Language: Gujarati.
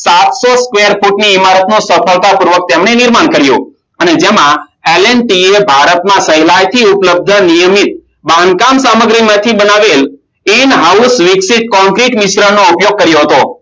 સાતસો તેર ફૂટની ઈમારતનો સફળતા પૂર્વક તેમને નિર્માણ કર્યું અને તેમાં LNT ભારતના કૈલાશી ઉપ્લબ્ધમાં નિયમિત બાંધકામ સામગ્રીમાંથી બનાવેલ ઉપયોગ કર્યો હતો